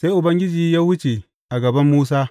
Sai Ubangiji ya wuce a gaban Musa,